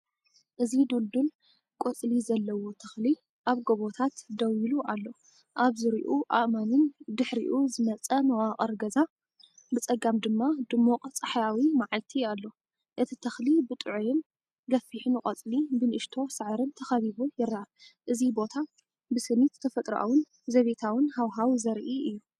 እዚ ድልዱል ቆጽሊ ዘለዎ ተኽሊ ኣብ ጎቦታት ደው ኢሉ ኣሎ። ኣብ ዙርያኡ ኣእማንን ፡ድሒሩ ዝመጸ መዋቕር ገዛ፡ ብጸጋም ድማ ድሙቕ ጸሓያዊ መዓልቲ ኣሎ። እቲ ተኽሊ ብጥዑይን ገፊሕን ቆጽሊ፡ብንእሽቶ ሳዕርን ተኸቢቡ ይረአ። እዚ ቦታ ብስኒት ተፈጥሮኣውን ዘቤታውን ሃዋህው ዘርኢ'ዩ።